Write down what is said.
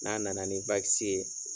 N'a nana ni Waksi ye.